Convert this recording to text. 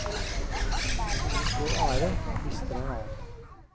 Når noen får ære, mister en annen.